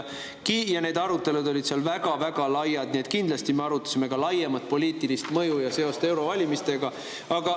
Ja need arutelud olid seal väga-väga laiad, nii et kindlasti me arutasime ka laiemat poliitilist mõju ja seost eurovalimistega.